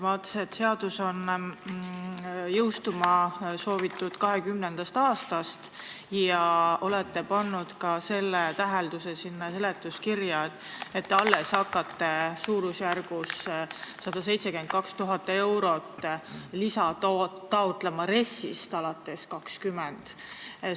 Ma vaatasin, et seadust soovitakse jõustada 2020. aastast ja te olete pannud seletuskirja ka selle tähelduse, et te alles hakkate 2020. aasta RES-ist taotlema lisa suurusjärgus 172 000 eurot.